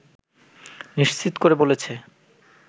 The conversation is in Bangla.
নিশ্চিত করে বলেছে